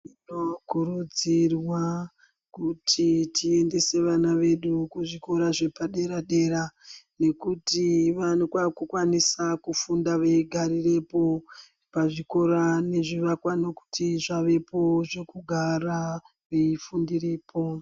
Tinokurudzirwa kuti tiendese vana vedu kuzvikora zvepadera-dera , nekuti vanokwa vaakukwanisa kufunda veigarirepo pazvikora nekuti nezvivakwa zvavepo zvekugara veifundirepo.